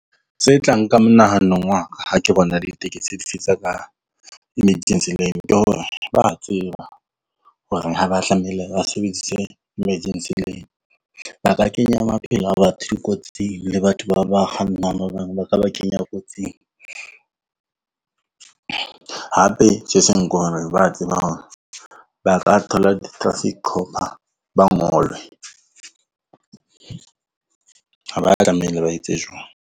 Tse tla nka monahanong wa ka ha ke bona ditekesi emergency lane, ke hore ba tseba horeng ha ba tlameile ba sebedise emergency lane. Ba ka kenya maphelo a batho di kotsing le batho ba kgannang ba bang ba ka ba kenya kotsing, hape tje se seng ko hore ba tseba hore ba ka thola di-traffic cop-a ba ngolwe .